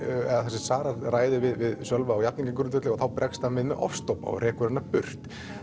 sem Sara ræðir við Sölva á jafningjagrundvelli og þá bregst hann við með ofstopa og rekur hana burt